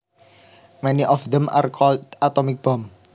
Many of them are called atomic bombs